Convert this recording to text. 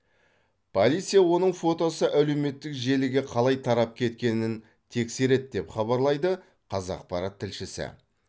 полиция оның фотосы әлеуметтік желіге қалай тарап кеткенін тексереді деп хабарлайды қазақпарат тілшісі